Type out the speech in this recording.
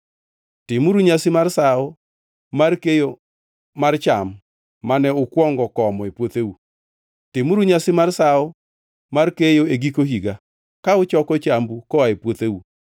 “Timuru nyasi mar Sawo mar Keyo mar cham mane ukwongo komo e puotheu. “Timuru nyasi mar Sawo mar Keyo e giko higa, ka uchoko chambu koa e puotheu.